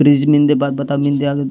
फ्रिज मेंदे बात बता मेंदे आगे --